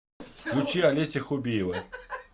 включи олеся хубиева